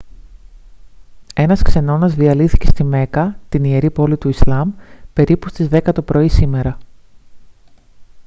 ένας ξενώνας διαλύθηκε στη μέκκα την ιερή πόλη του ισλάμ περίπου στις 10 το πρωί σήμερα